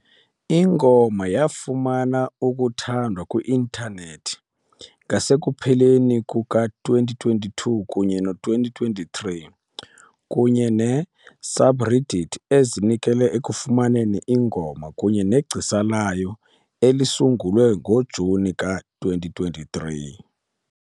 Ingoma yafumana ukuthandwa kwi-intanethi ngasekupheleni kuka-2022 kunye no-2023, kunye ne -subreddit ezinikele ekufumaneni ingoma kunye negcisa layo elisungulwe ngoJuni ka-2023.